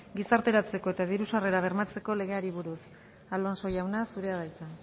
gizarteratzeko eta diru sarrerak bermatzeko legeari buruz alonso jauna zurea da hitza